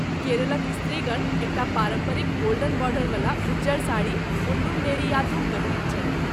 केरलक स्त्रीगण, एकटा पारम्परिक गोल्डन बॉर्डरवला उज़्जर साड़ी, मुंडुम नेरीयाथुम पहिरैत छथि।